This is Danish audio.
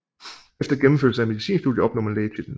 Efter gennemførelse af medicinstudiet opnår man lægetitlen